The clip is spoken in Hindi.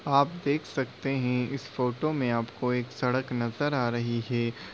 आप देख सकते है इस फोटो मे आपको एक सड़क नजर आ रही है --